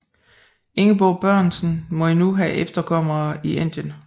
Ingeborg Børresen må endnu have efterkommere i Indien